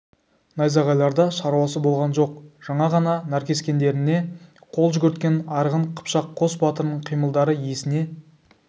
найзағайларда шаруасы болған жоқ жаңа ғана наркескендеріне қол жүгірткен арғын қыпшақ қос батырының қимылдары есіне